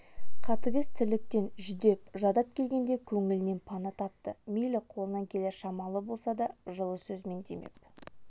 қатыгез тірліктен жүдеп-жадап келгенде көңілінен пана тапты мейлі қолынан келер шамалы болса да жылы сөзімен демеп